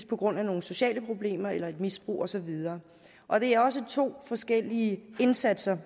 på grund af nogle sociale problemer eller et misbrug og så videre og det er også to forskellige indsatser